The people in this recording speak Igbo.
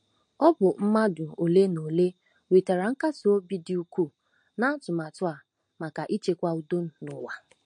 Ọ bụ mmadụ ole na ole nwetara nkasi obi dị ukwuu n'atụmatụ a maka ichekwa udo n'ụwa.